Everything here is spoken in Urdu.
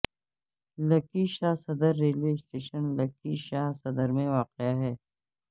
لکی شاہ صدر ریلوے اسٹیشن لکی شاہ صدر میں واقع ہے